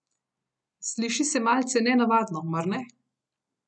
Sliši se malce nenavadno, mar ne?